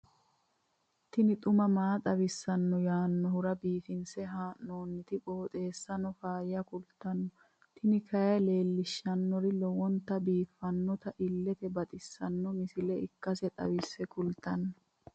tini xuma mtini maa xawissanno yaannohura biifinse haa'noonniti qooxeessano faayya kultanno tini kayi leellishshannori lowonta biiffinota illete baxissanno misile ikkase xawisse kultanno.